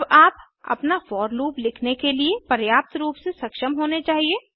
अब आप अपना फोर लूप लिखने के लिए पर्याप्त रूप से सक्षम होने चाहिए